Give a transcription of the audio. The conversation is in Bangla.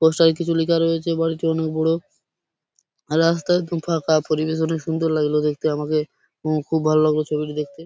পোস্টার এ কিছু লেখা রয়েছে। বাড়িটি অনেক বোড়ো আর রাস্তা একদম ফাঁকা ।পরিবেশ অনেক সুন্দর লাগলো দেখতে আমাকে খুব ভালো লাগলো ছবিটি দেখতে।